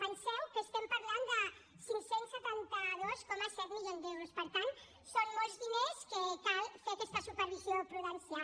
penseu que estem parlant de cinc cents i setanta dos coma set milions d’euros per tant són molts diners que cal fer ne aquesta supervisió prudencial